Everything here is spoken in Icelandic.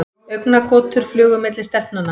Augnagotur flugu á milli stelpnanna.